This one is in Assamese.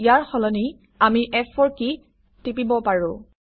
ইয়াৰ সলনি আমি ফ4 কী টিপিব পাৰোঁ